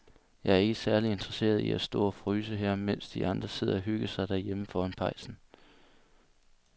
Jeg er ikke særlig interesseret i at stå og fryse her, mens de andre sidder og hygger sig derhjemme foran pejsen.